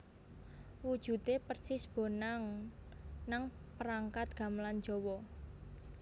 Wujude persis bonang nang perangkat gamelan Jawa